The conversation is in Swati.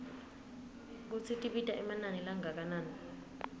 kutsi tibita emanani langakanani